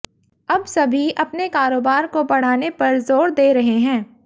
अब सभी अपने कारोबार को बढ़ाने पर जोर दे रहे हैं